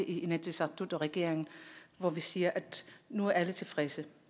i inatsisartut og regeringen hvor vi siger at nu er alle tilfredse